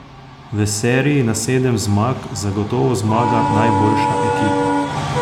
V seriji na sedem zmag zagotovo zmaga najboljša ekipa.